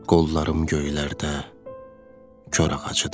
Qollarım göylərdə kor ağacıdır.